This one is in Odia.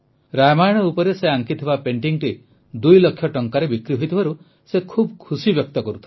ରାମାୟଣ ଉପରେ ସେ ଆଙ୍କିଥିବା paintingଟି ଦୁଇ ଲକ୍ଷ ଟଙ୍କାରେ ବିକ୍ରି ହୋଇଥିବାରୁ ସେ ଖୁସି ବ୍ୟକ୍ତ କରୁଥିଲେ